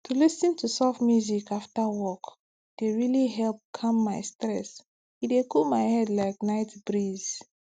to lis ten to soft music after work dey really help calm my stress e dey cool my head like night breeze